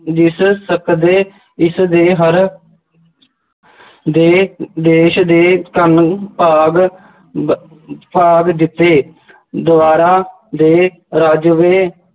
ਜਿਸ ਸਕਦੇ ਇਸ ਦੇ ਹਰ ਦੇ ਦੇਸ਼ ਦੇ ਧੰਨ ਭਾਗ ਬ~ ਜਿੱਥੇ ਦੁਆਰਾ ਰੱਜਵੇਂ